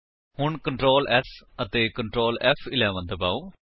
ਹੁਣ Ctrl S ਅਤੇ Ctrl ਫ਼11 ਦਬਾਓ